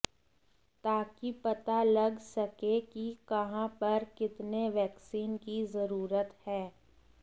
ताकि पता लग सके कि कहां पर कितने वैक्सीन की जरुरत है